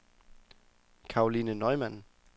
Karoline Neumann